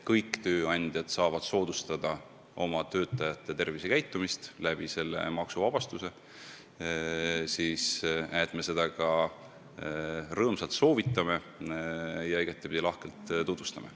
Kõik tööandjad saavad soodustada oma töötajate tervisekäitumist tänu sellele maksuvabastusele, mida me ka rõõmsalt soovitame ja igatpidi lahkelt tutvustame.